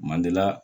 Mandiya